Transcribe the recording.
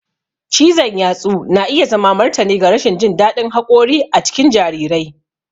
Cizon yatsu na iya zama martani ga rashin jin daɗin haƙori a cikin jarirai.